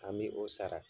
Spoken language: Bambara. An bɛ o sara